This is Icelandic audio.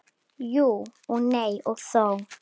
Jú og nei og þó.